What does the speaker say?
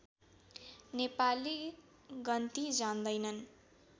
नेपाली गन्ती जान्दैनन्